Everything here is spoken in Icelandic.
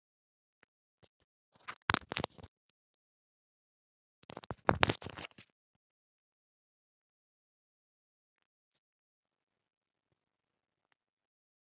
Elsku besta Sirrý amma.